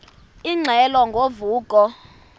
ingxelo ngo vuko